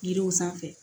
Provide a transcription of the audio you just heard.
Yiriw sanfɛ